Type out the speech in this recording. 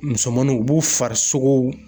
Musomanninw b'u farisogow